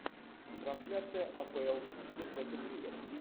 трансляция апл сити против ливер